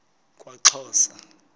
kwaxhosa